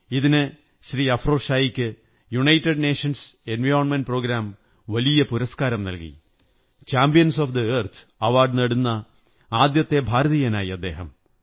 ഇതിന് ശ്രീ അഫ്രോസ് ഷായ്ക്ക് United Nations Environment Programme വലിയ പുരസ്കാരം നല്കി ചാമ്പ്യന്സ്ു ഓഫ് ദ എര്ത്ത്േ അവാര്ഡുപനേടുന്ന ആദ്യത്തെ ഭാരതീയനായി അദ്ദേഹം